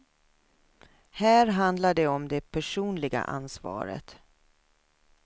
Här handlar det om det personliga ansvaret.